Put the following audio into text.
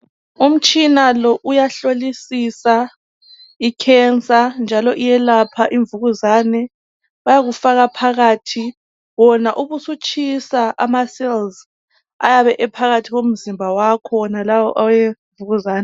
Umtshina lo uyahlolisisa i"cancer" njalo iyelapha imvukuzane. Bayakufaka phakathi wona ubusutshisa ama"cells" ayabe ephakathi komzimba wakho wona awemvukuzane.